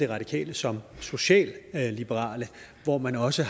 radikale som socialliberale hvor man også